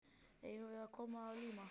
Eigum við að koma að líma?